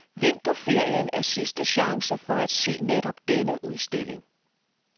Vinterferien er sidste chance for at se netop denne udstilling.